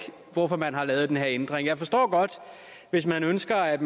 hvorfor man har lavet den her ændring jeg forstår godt hvis man ønsker at